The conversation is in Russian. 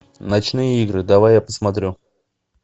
ночные игры давай я посмотрю